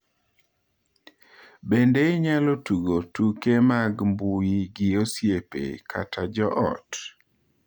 Bende inyalo tugo tuke mag mbui gi osiepe kata jo ot.